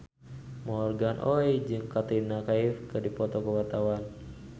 Morgan Oey jeung Katrina Kaif keur dipoto ku wartawan